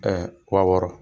a wɔɔrɔ,